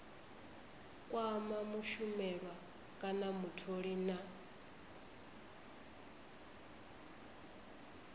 kwama mushumelwa kana mutholi na